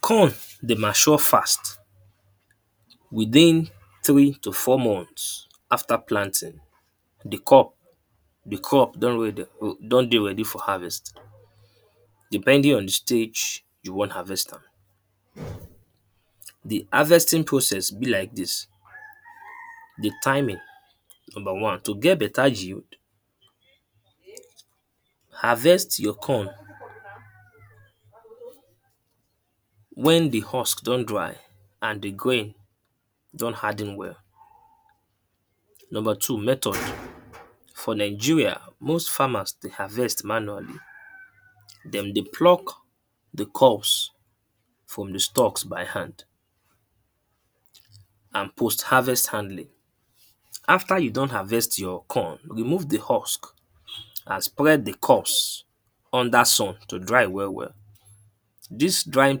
Corn dey mature fast with three to four month after planting. The corn the crop don ready don dey ready for harvest depending on the stage you wan harvest am. The harvesting process be like dis, the timing. Number one, to get better yield, harvest your corn when the husk don dry and the green don harden well. Number two method. For Nigeria most farmers dey harvest manually. Dem dey pluck the crops from the stucks by hand and post harvest handling. After you don harvest your corn, remove the husk and spread the cubs under sun to dry well well. Dis drying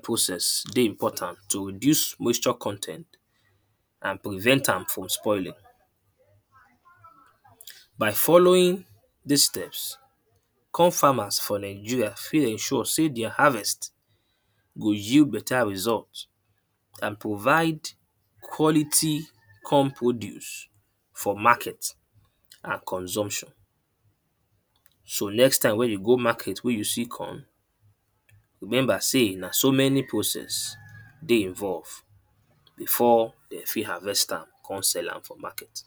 process dey important to remove moisture con ten t and prevent am from spoiling. By following dis steps core farmers for Nigeria fit ensure sey the harvest go yield better result. and provide quality corn produce for market and consumption. So next time wey you go market wey you see corn remember sey na so many process dey involve before de fit harvest am con sell am for market.